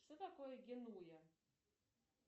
что такое генуя